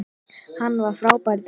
Hann var frábær í dag.